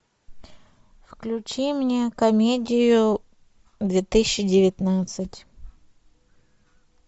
включи мне комедию две тысячи девятнадцать